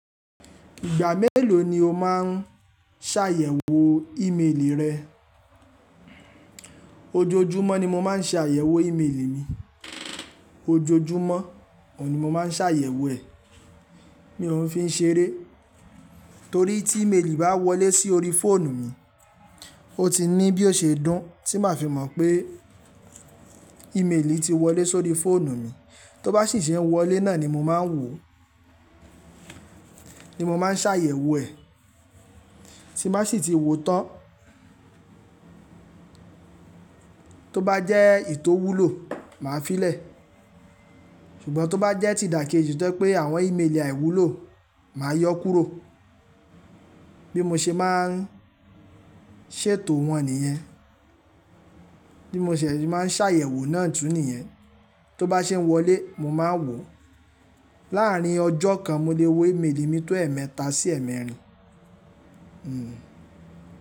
Ìgbà mélòó ni o máa ń ṣàyẹ̀wò ímeèlì rẹ? Ojoojúmọ́ ni mo máa ń ṣe àyẹ̀wò ìméèlì mi. Ojoojúmọ́, òun ni mo máa ń ṣàyẹ̀wò ẹ̀. Mi ò fi ń ṣe eré, torí tí ìméèlì bá wọlé sí orí fóònù mi, ó ti ní bí ó ṣe dún tí màá fi mọ̀ pé ímeèlì ti wọlé sórí fóònù mi. Tó bá sì ṣe wọlé náà ni mo máa ń wò, ni mo máa ń ṣàyẹ̀wò ẹ̀. Tí n bá sì ti wo tán, tó bá jẹ́ ètò wúlò, màá fi lè. Ṣùgbọ́n tó bá jẹ́ ti dakeji tó pé àwọn ìméèlì àìwúlò, màá yọ kúrò. Bí mo ṣe máa ń ṣètò wọn nìyẹn. Bí mo ṣẹ̀ ṣe máa ń ṣàyẹ̀wò náà tún nìyẹn. Tó bá ṣe ń wọlé, mo máa ń wò. Láàárín ọjọ́ kan, mo lè wo ìméèlì mi tó ẹ̀ẹ̀méta sí ẹ̀ẹ̀mẹ́rin. Hmm.